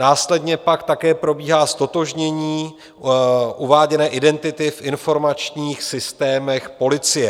Následně pak také probíhá ztotožnění uváděné identity v informačních systémech policie.